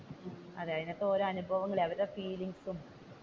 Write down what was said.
അതിന്റെ അകത്തു ഓരോ അനുഭവും ഓരോ ഫീലിങ്ങ്സും.